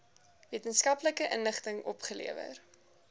wetenskaplike inligting opgelewer